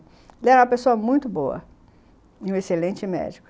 Ele era uma pessoa muito boa e um excelente médico.